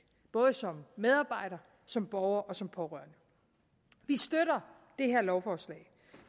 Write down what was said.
både som medarbejder som borger og som pårørende vi støtter det her lovforslag